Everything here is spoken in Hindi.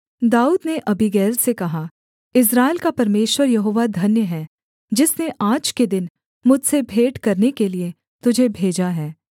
दाऊद ने अबीगैल से कहा इस्राएल का परमेश्वर यहोवा धन्य है जिसने आज के दिन मुझसे भेंट करने के लिये तुझे भेजा है